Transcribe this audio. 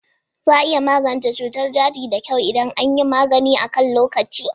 Za a iya magance cutar daji da kyau idan an yi magani akan lokaci.